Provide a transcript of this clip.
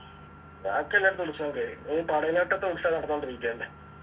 ബാക്കിയെല്ലായിടത്തും ഉത്സവം കഴിഞ്ഞു ഇനി പടയിലൊട്ടത്തെ ഉത്സവം നടന്നോണ്ടിരിക്കണ്ട്